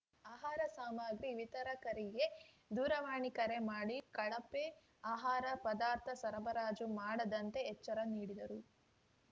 ಆಹಾರ ಸಾಮಗ್ರಿ ವಿತರಕರಿಗೆ ದೂರವಾಣಿ ಕರೆ ಮಾಡಿ ಕಳಪೆ ಆಹಾರ ಪದಾರ್ಥ ಸರಬರಾಜು ಮಾಡದಂತೆ ಎಚ್ಚರ ನೀಡಿದರು